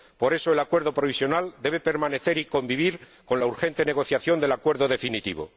Por eso, el Acuerdo provisional debe permanecer y convivir con la urgente negociación del Acuerdo definitivo.